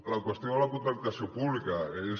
la qüestió de la contractació pública és